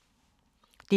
DR2